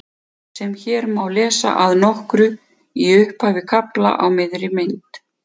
sem hér má lesa að nokkru í upphafi kafla á miðri mynd